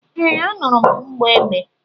Ee, anụrụ m mgbọ egbe